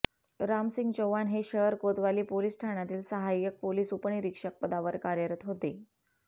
रामसिंह चौहान हे शहर कोतवाली पोलीस ठाण्यातील साहाय्यक पोलीस उपनिरीक्षक पदावर कार्यरत होते